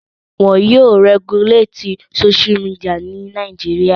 Won yóò rẹguléètì Sóṣú midià ní Nàìjíríà